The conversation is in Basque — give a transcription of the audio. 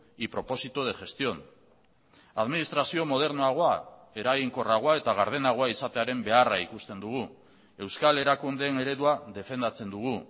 y propósito de gestión administrazio modernoagoa eraginkorragoa eta gardenagoa izatearen beharra ikusten dugu euskal erakundeen eredua defendatzen dugu